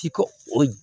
Ci ko o